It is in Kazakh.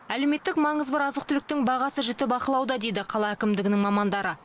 әлеуметтік маңызы бар азық түліктің бағасы жіті бақылауда дейді қала әкімдігінің мамандары